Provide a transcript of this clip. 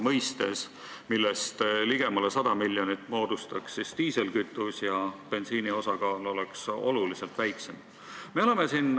Sellest ligemale 100 miljonit tuleks diislikütuse arvel, bensiini osakaal oleks oluliselt väiksem.